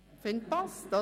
Ich finde, das passt.